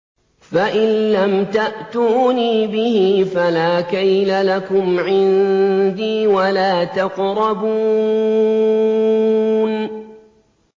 فَإِن لَّمْ تَأْتُونِي بِهِ فَلَا كَيْلَ لَكُمْ عِندِي وَلَا تَقْرَبُونِ